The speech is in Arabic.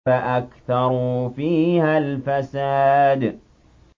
فَأَكْثَرُوا فِيهَا الْفَسَادَ